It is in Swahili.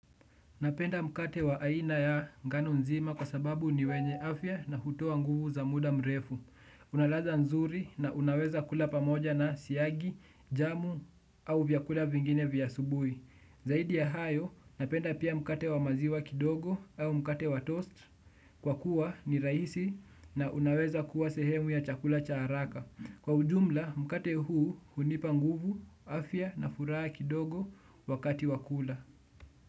Napenda mkate wa aina ya ngano nzima kwa sababu ni wenye afya na hutoa nguvu za muda mrefu. Una ladha nzuri na unaweza kula pamoja na siagi, jamu au vyakula vingine vya asubui. Zaidi ya hayo, napenda pia mkate wa maziwa kidogo au mkate wa toast kwa kuwa ni raisi na unaweza kuwa sehemu ya chakula cha haraka. Kwa ujumla, mkate huu hunipa nguvu, afya na furaha kidogo wakati wa kula.